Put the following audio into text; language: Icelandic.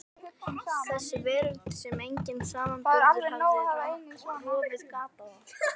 Þessi veröld sem enginn samanburður hafði rofið gat á.